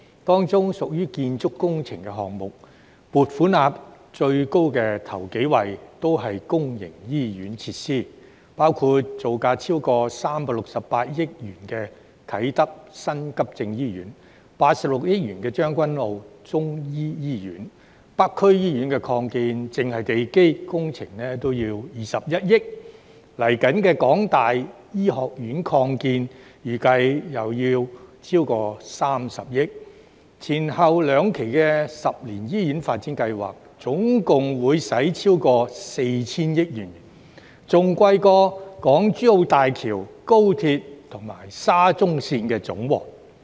當中的建築工程項目，撥款額最高首幾位的均是公營醫院設施，包括造價超過368億元的啟德新急症醫院、86億元的將軍澳中醫醫院，而北區醫院擴建只是地基工程也要21億元，港大醫學院擴建預計又要超過30億元，前後兩期十年醫院發展計劃總共會花費超過 4,000 億元，比港珠澳大橋、高鐵和沙中綫的費用總和還要高。